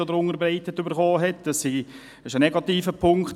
Dies ist für unsere Leute ein negativer Punkt.